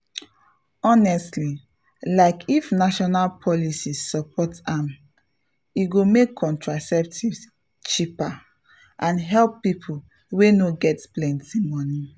honestly like if national policy support am e go make contraceptives cheaper and help people wey no get plenty money.